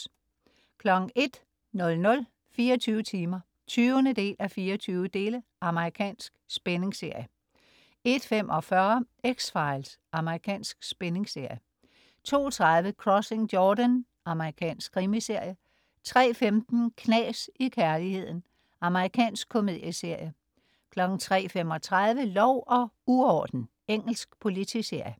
01.00 24 timer 20:24. Amerikansk spændingsserie 01.45 X-Files. Amerikansk spændingsserie 02.30 Crossing Jordan. Amerikansk krimiserie 03.15 Knas i kærligheden. Amerikansk komedieserie 03.35 Lov og uorden. Engelsk politiserie